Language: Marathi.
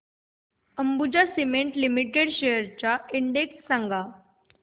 अंबुजा सीमेंट लिमिटेड शेअर्स चा इंडेक्स सांगा